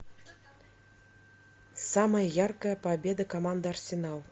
самая яркая победа команды арсенал